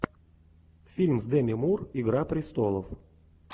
фильм с деми мур игра престолов